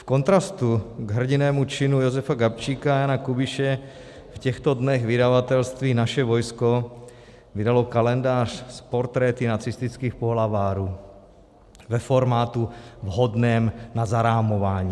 V kontrastu k hrdinnému činu Jozefa Gabčíka a Jana Kubiše v těchto dnech vydavatelství Naše vojsko vydalo kalendář s portréty nacistických pohlavárů ve formátu vhodném na zarámování.